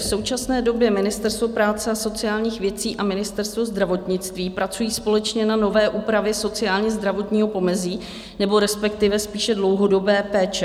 V současné době Ministerstvo práce a sociálních věcí a Ministerstvo zdravotnictví pracují společně na nové úpravě sociálně-zdravotního pomezí nebo respektive spíše dlouhodobé péče.